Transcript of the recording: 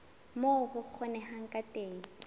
moo ho kgonehang ka teng